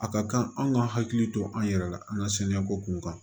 A ka kan an ka hakili to an yɛrɛ la an ka saniya ko kun kan